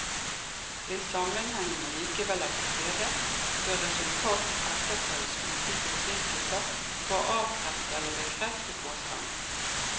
Hvis sammenhengen allikevel er til stede, bør resultatet etterprøves uten forsinkelse for å avkrefte eller bekrefte påstanden.